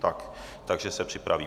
Ano, takže se připraví.